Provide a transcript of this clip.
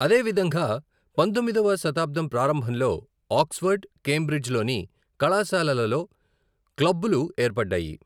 అదేవిధంగా, పంథొమ్మిదవ శతాబ్దం ప్రారంభంలో ఆక్స్ఫర్డ్, కేంబ్రిడ్జ్ లోని కళాశాలల లో క్లబ్బులు ఏర్పడ్డాయి.